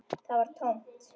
Það var tómt.